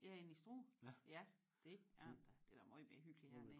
Ja end i Struer? Ja det er det da det da møj mere hyggeligt hernede